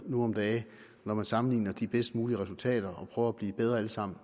nu om dage hedder når man sammenligner de bedst mulige resultater og prøver at blive bedre alle sammen